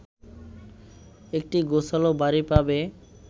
একটি গোছানো বাড়ি পাবে